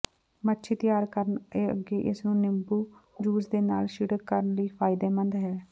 ਮੱਛੀ ਤਿਆਰ ਕਰਨ ਅੱਗੇ ਇਸ ਨੂੰ ਨਿੰਬੂ ਜੂਸ ਦੇ ਨਾਲ ਛਿੜਕ ਕਰਨ ਲਈ ਫਾਇਦੇਮੰਦ ਹੈ